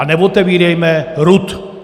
A neotevírejme RUD.